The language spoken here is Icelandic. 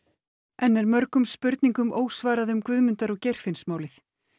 enn er mörgum spurningum ósvarað um Guðmundar og Geirfinnsmálið